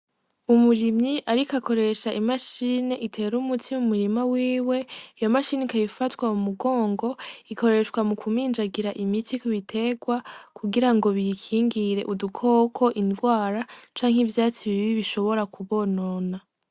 Umurimyi, ariko akoresha imashine itera umutsimu murima wiwe ya mashinika bifatwa mu mugongo ikoreshwa mu kuminjagira imiti kubiterwa kugira ngo biyikingire udukoko indwara canke ivyatsi bibi bishobora kubonona.